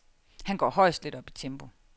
Han går højst lidt op i tempo.